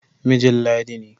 Mijin Ladi ne.